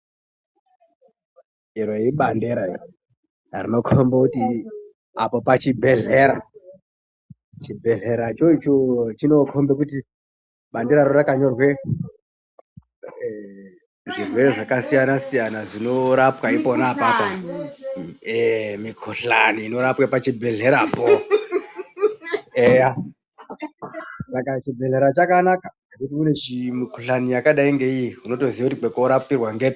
Iro ibandersa rinokomba kuti apo pachibhehlera chibhehlera choicho chinokomba kuti baberaro rakanyorwa kuti zvirwere zvakasiyana siyana zvinorapwa pona apapo mukuhlani inorapa pachibhehlerapo chibhehlera chakanaka unemukuhlani yakadai ngeiiyi unotozoya kuti kwokorapirwa...